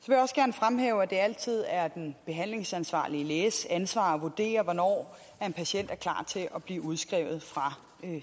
fremhæve at det altid er den behandlingsansvarlige læges ansvar at vurdere hvornår en patient er klar til at blive udskrevet fra